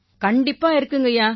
கண்டிப்பா இருக்குங்கய்யா